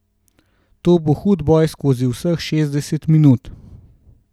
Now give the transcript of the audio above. To bo hud boj skozi vseh šestdeset minut.